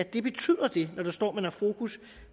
det betyder når der står at man har fokus